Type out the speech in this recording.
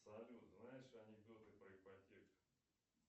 салют знаешь анекдоты про ипотеку